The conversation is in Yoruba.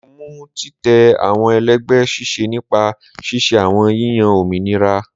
Mo mu titẹ awọn ẹlẹgbẹ ṣiṣẹ nipa ṣiṣe awọn yiyan ominira